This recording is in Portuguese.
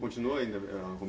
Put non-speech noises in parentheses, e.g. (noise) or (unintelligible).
Continua ainda a (unintelligible)